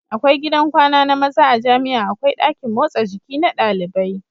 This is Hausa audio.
Akwai gidan kwana na maza a jamia akwai dakin motsa jiki na ɗalibai